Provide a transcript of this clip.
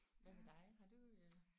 Hvad med dig? Har du øh